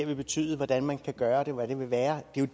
vil betyde hvordan man kan gøre det og hvad det vil være det er